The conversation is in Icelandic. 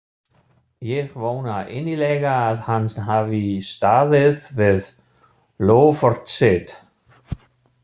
Ég vona innilega að hann hafi staðið við loforð sitt.